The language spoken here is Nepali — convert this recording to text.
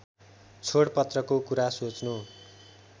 छोडपत्रको कुरा सोच्नु